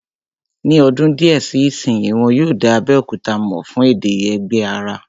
Ní ọdún díẹ̀ sí ìsínyi, wọ́n yóò dá Abéòkúta mọ̀ fún èdè Ẹ̀gbá rẹ̀